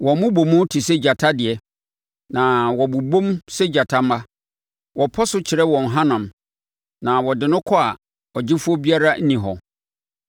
Wɔn mmobɔmu te sɛ gyata deɛ, na wɔbobɔm sɛ gyata mma; wɔpɔso kyere wɔn hanam na wɔde no kɔ a ɔgyefoɔ biara nni hɔ.